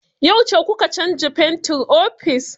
Yauce kuka canza fentin ofis?